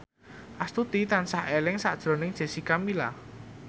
Astuti tansah eling sakjroning Jessica Milla